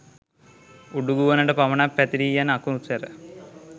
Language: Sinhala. උඩුගුවනට පමණක් පැතිරී යන අකුණු සැර